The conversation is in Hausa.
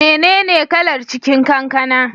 Mene ne kalar cikin kankana?